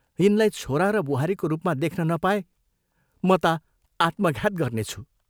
यिनलाई छोरा र बुहारीको रूपमा देख्न नपाए म ता आत्मघात गर्नेछु।